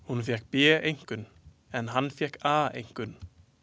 Hún fékk B-einkunn en hann fékk A-einkunn.